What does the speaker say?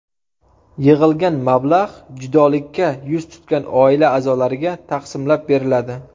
Yig‘ilgan mablag‘ judolikka yuz tutgan oila a’zolariga taqsimlab beriladi”.